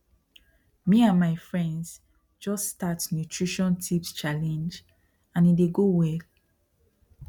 me and my friends just start nutrition tips challenge and e dey go well